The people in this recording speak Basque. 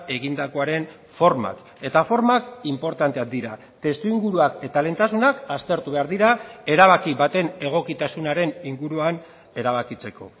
egindakoaren formak eta formak inportanteak dira testuinguruak eta lehentasunak aztertu behar dira erabaki baten egokitasunaren inguruan erabakitzeko